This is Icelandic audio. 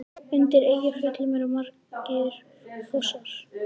Undir Eyjafjöllum eru margir fossar.